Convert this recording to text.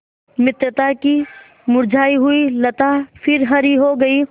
मित्रता की मुरझायी हुई लता फिर हरी हो गयी